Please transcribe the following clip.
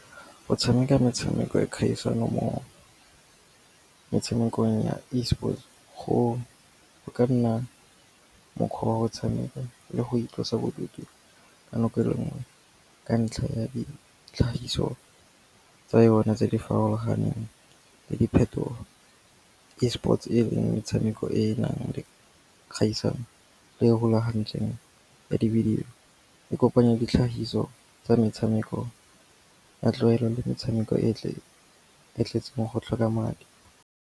Go tshameka metshameko ya kgaisano mo metshamekong ya Esports, go ka nna mokgwa wa go tshameka le go itlosa bodutu ka nako e le nngwe ka ntlha ya ditlhagiso tsa yone tse di farologaneng le diphetogo. Esports e leng metshameko e e nang le kgaisano e rulagantsweng ya divideyo, e kopanya ditlhagiso tsa metshameko ya tlogelo le metshameko e e tletseng go tlhoka madi.